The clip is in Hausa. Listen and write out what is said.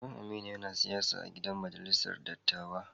Baba'n Aminu yana siyasa a'gidan majalisar dattawa.